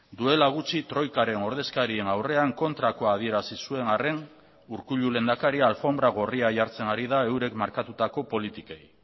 duela gutxi troikaren ordezkarien aurrean kontrakoa adierazi zuen arren urkullu lehendakaria alfonbra gorria jartzen ari da eurek markatutako politikei